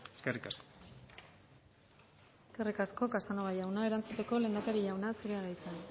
eskerrik asko eskerrik asko casanova jauna erantzuteko lehendakari jauna zurea da hitza